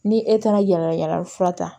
Ni e taara yala yala fura ta